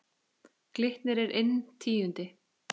Glitnir er inn tíundi